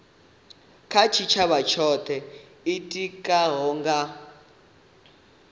kha tshitshavha tsho itikaho nga